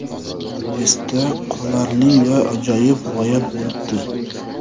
Esda qolarli va ajoyib g‘oya bo‘libdi.